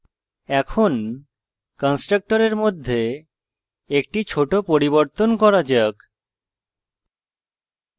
এখন কন্সট্রকটরের মধ্যে একটি ছোট পরিবর্তন করা যাক